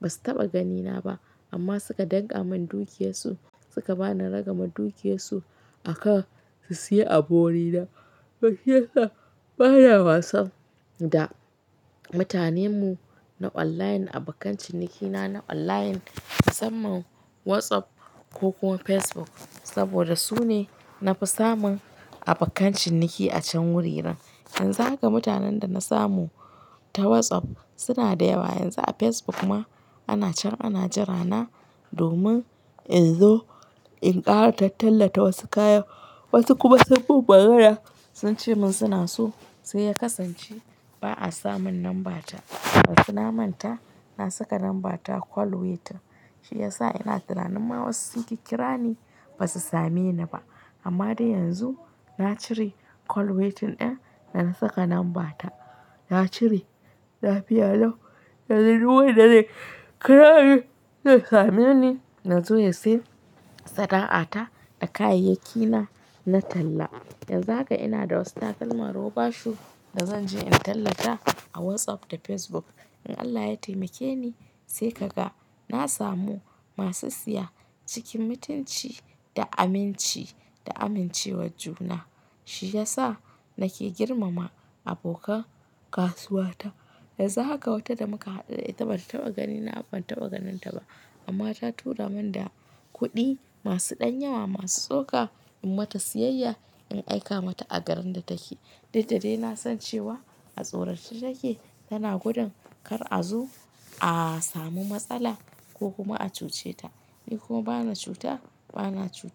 Ba su taɓa ganina ba amma suka dankamin dukiyar su suka bani ragamar dukiyar su aka su siya abu wuri na. Shi yasa bana wasa da mutanen mu na online abokan ciniki na na online musamman WhatsApp ko kuma Facebook saboda su ne nafi samun abokan ciniki a can wuririn. Yanzu haka mutanen da na samu ta WhatsApp suna da yawa. Yanzu a Facebook ma ana can ana jira na domin in zo in ƙara tallata wasu kaya wasu kuma sunyi mun magana sun ce min suna so sai ya kasance ba a samun lamba ta. Ba su na manta na saka lambar ta call waiting. Shi ya sa ina tunanin ma wasu suke kira ni ba su same ni ba. Amma dai yanzu na cire call waiting ɗin da na saka lambar ta. Na cire lafiya lau yanzu duk wanda zai kira ni ya same ni ya zo ya siya sana'a ta da kayayyaki na na talla. Yanzu haka ina da wasu takalma roba shoe da zan je in tallata a WhatsApp da Facebook. In Allah ya taimake ni sai kaga na samu masu siya cikin mutunci da aminci da amincewar juna. Shi ya sa nake girmama abokan kasuwa ta. Yanzu haka wata da muka haɗu ita bata taɓa ganina amma ban taɓa ganin ta ba. Amma ta tura min da kuɗi masu ɗan yawa masu tsoka in mata siyayya in aika mata a garin da take. Duk da dai na san cewa a tsorace take tana gudun kar a zo a samu matsala ko kuma a cuce ta. Ni kuma bana cuta bana cutar wa.